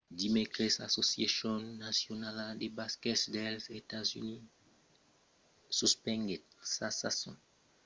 dimècres l'associacion nacionala de basquet dels estats units nba suspenguèt sa sason professionala de basquet pr'amor de preocupacions per çò qu'es del covid-19